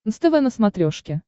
нств на смотрешке